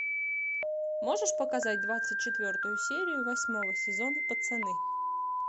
можешь показать двадцать четвертую серию восьмого сезона пацаны